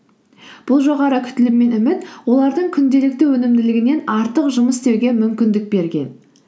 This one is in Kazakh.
бұл жоғары күтілім мен үміт олардың күнделікті өнімділігінен артық жұмыс істеуге мүмкіндік берген